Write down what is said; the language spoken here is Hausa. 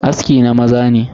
Aski na maza ne.